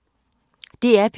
DR P1